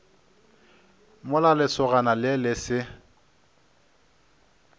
mola lesogana le le se